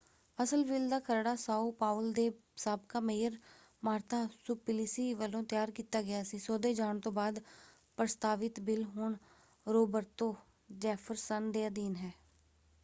ਅਸਲ ਬਿੱਲ ਦਾ ਖਰੜਾ ਸਾਓ ਪਾਓਲ ਦੇ ਸਾਬਕਾ ਮੇਅਰ ਮਾਰਤਾ ਸੁਪਲਿਸੀ ਵੱਲੋਂ ਤਿਆਰ ਕੀਤਾ ਗਿਆ ਸੀ। ਸੋਧੇ ਜਾਣ ਤੋਂ ਬਾਅਦ ਪ੍ਰਸਤਾਵਿਤ ਬਿੱਲ ਹੁਣ ਰੋਬਰਤੋ ਜੈਫਰਸਨ ਦੇ ਅਧੀਨ ਹੈ।